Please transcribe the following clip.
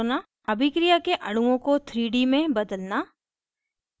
अभिक्रिया के अणुओं को 3d में बदलना